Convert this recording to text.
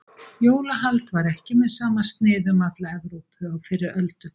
Jólahald var ekki með sama sniði um alla Evrópu á fyrri öldum.